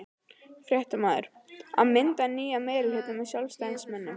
Fréttamaður:. að mynda nýjan meirihluta með Sjálfstæðismönnum?